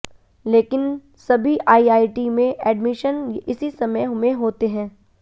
लेकिन सभी आईआईटी में एडमिशन इसी समय में होते हैं